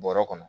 Bɔrɛ kɔnɔ